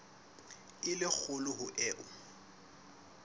e le kgolo ho eo